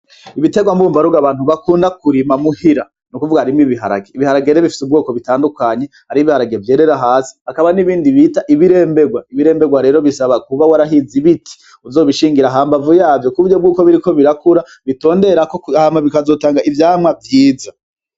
Ibiterwa bumba rugo abantu bakunda kurima muhira, nukuvuga harimwo ibiharage. Ibiharage rero bifise ubwoko butandukanye, hariho ibiharage vyerera hasi hakaba n'ibindi bita ibiremberwa, ibiremberwa rero bisaba kuba warahize ibiti uzobishingira hambavu yavyo kuburyo biriko birakura bitonderako hama bikazotanga ivyamwa vyiza.